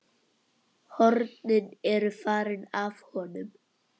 Hornin eru farin af honum.